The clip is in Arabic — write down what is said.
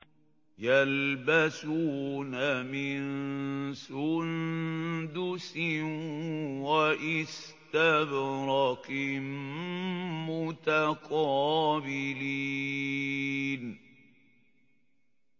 يَلْبَسُونَ مِن سُندُسٍ وَإِسْتَبْرَقٍ مُّتَقَابِلِينَ